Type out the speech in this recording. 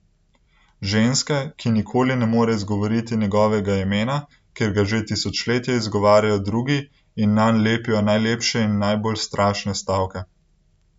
Ženske, ki nikoli ne more izgovoriti njegovega imena, ker ga že tisočletja izgovarjajo drugi in nanj lepijo najlepše in najbolj strašne stavke.